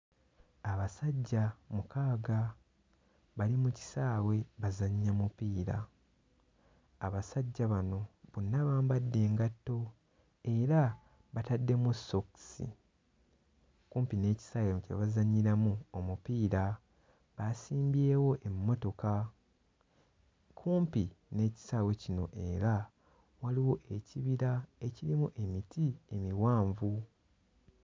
Abasajja mukaaga bali mu kisaawe bazannya mupiira. Abasajja bano bonna bambadde engatto era bataddemu ssookisi. Kumpi n'ekisaawe kye bazannyiramu omupiira baasimbyewo emmotoka. Kumpi n'ekisaawe kino era waliwo ekibira ekirimu emiti emiwanvu.